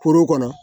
Koro kɔnɔ